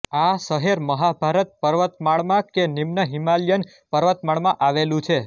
આ શહેર મહાભારત પર્વત માળામાં કે નિમ્ન હિમાલયન પર્વતમાળામાં આવેલું છે